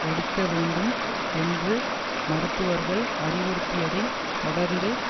எடுக்கவேண்டும் என்று மருத்துவர்கள் அறிவுறுத்தியதை தொடர்ந்து